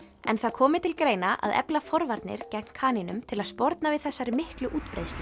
en það komi til greina að efla forvarnir gegn kanínum til að sporna við þessari miklu útbreiðslu